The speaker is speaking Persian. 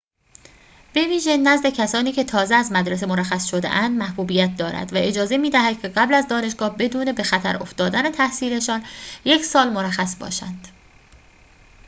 بویژه نزد کسانی که تازه از مدرسه مرخص شده‌اند محبوبیت دارد و اجازه می‌دهد که قبل از دانشگاه بدون به خطر افتادن تحصیل‌شان یک سال مرخص باشند